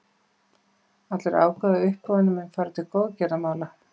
Allur ágóði af uppboðinu mun fara til góðgerðamála.